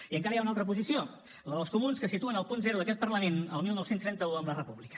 i encara hi ha una altra posició la dels comuns que situen el punt zero d’aquest parlament al dinou trenta u amb la república